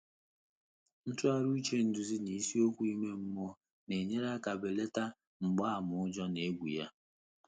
Ntụ́ghàrị́ úchè édúzí nà ísíókwú ímé mmụ́ọ́ nà-ényéré áká bèlàtà mgbààmà ụ́jọ́ nà égwú yá.